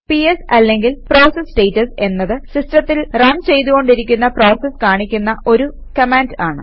PS അല്ലെങ്കിൽ process status എന്നത് സിസ്റ്റത്തിൽ റൺ ചെയ്തുകൊണ്ടിരിക്കുന്ന പ്രോസസസ് കാണിക്കുന്ന ഒരു കമാൻഡ് ആണ്